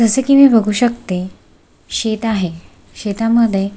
जस की मी बघू शकते शेत आहे शेतामध्ये--